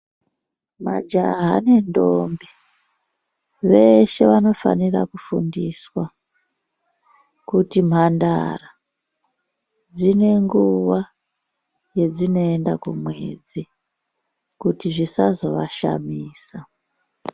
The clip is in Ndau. Majaha nentombi, veshe vanofanira kufundiswa kuti mhandara, dzinenguwa yedzinoyenda kumwedzi kuti zvisazo vashamisa.